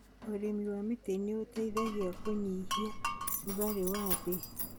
ũrĩmi wa mĩtĩ nĩ ũteithagia kũnyihia rugarĩ wa thĩ.